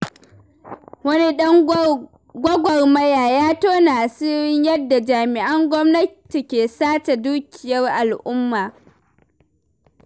Wani ɗan gwagwarmaya ya tona asirin yadda jami'an gwamnati ke sace dukiyar al'umma.